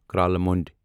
کرالہٕ مونڈ